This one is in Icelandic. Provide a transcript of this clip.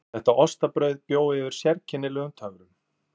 Þetta ostabrauð bjó yfir sérkennilegum töfrum.